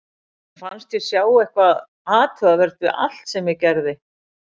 Mér fannst ég sjá eitthvað athugavert við allt sem ég gerði.